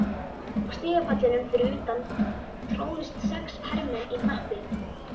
Á stigapallinum fyrir utan tróðust sex hermenn í hnappi.